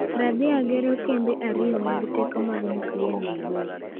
Radhia gero kembe ariyo mag teko mag nyuklia Nigeria,